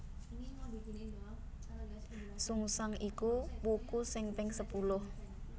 Sungsang iku wuku sing ping sepuluh